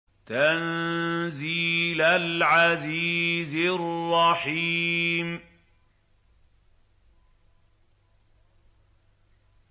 تَنزِيلَ الْعَزِيزِ الرَّحِيمِ